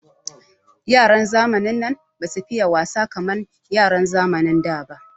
Yaran zamanin nan basu fiye wasa kamar yaran zamanin da ba.